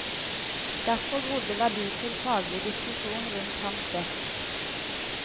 Derfor grodde verdifull faglig diskusjon rundt hans desk.